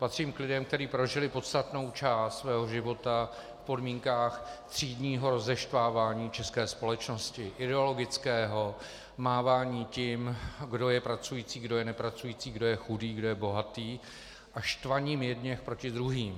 Patřím k lidem, kteří prožili podstatnou část svého života v podmínkách třídního rozeštvávání české společnosti, ideologického mávání tím, kdo je pracující, kdo je nepracující, kdo je chudý, kdo je bohatý a štvaním jedněch proti druhým.